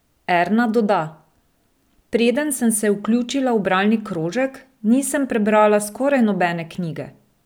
Erna doda: "Preden sem se vključila v bralni krožek, nisem prebrala skoraj nobene knjige.